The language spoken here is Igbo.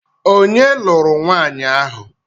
Onye lụrụ nwanyi ahụ?